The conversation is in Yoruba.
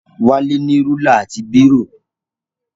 Wálé ní rúlà àti bírò.